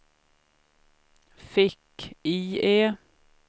fick-IE